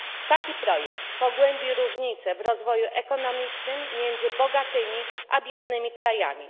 Taki projekt pogłębi różnice w rozwoju ekonomicznym między bogatymi a biednymi krajami.